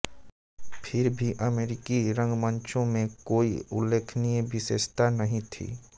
फिर भी अमरीकी रंगमंचों में कोई उल्लेखनीय विशेषता नहीं थीं